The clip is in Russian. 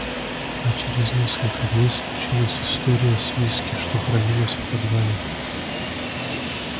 а через несколько дней случилась история с виски что хранилось в подвале